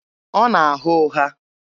Ọ na-agha ụgha.